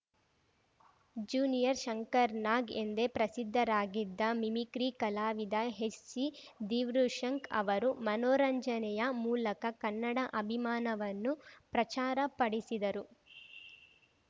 junior Shankarnag ಎಂದೇ ಪ್ರಸಿದ್ಧರಾಗಿದ್ದ mimicry ಕಲಾವಿದ ಎಚ್‌ಸಿ ದೀವ್ರುಶಂಕ್ ಅವರು ಮನೋರಂಜನೆಯ ಮೂಲಕ ಕನ್ನಡ ಅಭಿಮಾನವನ್ನು ಪ್ರಚಾರ ಪಡಿಸಿದರು